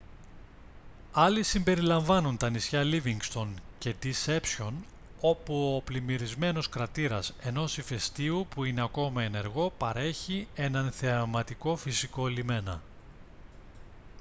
άλλοι συμπεριλαμβάνουν τα νησιά λίβινγκστον και ντισέπσιον όπου ο πλημμυρισμένος κρατήρας ενός ηφαιστείου που είναι ακόμη ενεργό παρέχει έναν θεαματικό φυσικό λιμένα